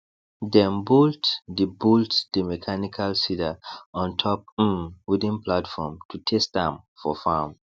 dem bolt the bolt the mechanical seeder on top um wooden platform to test am for farm